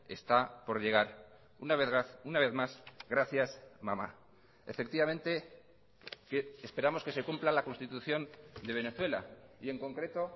está por llegar una vez más gracias mama efectivamente esperamos que se cumpla la constitución de venezuela y en concreto